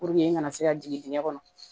n kana se ka jigin digɛn kɔnɔ